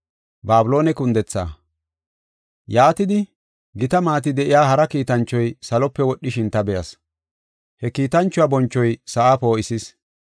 Yaatidi, gita maati de7iya hara kiitanchoy salope wodhishin ta be7as. He kiitanchuwa bonchoy sa7a poo7isis.